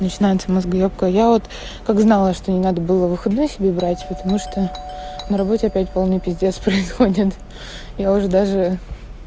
начинается мозгоёбка я вот как знала что не надо было выходной себе брать потому что на работе опять полный пиздец происходит я уже даже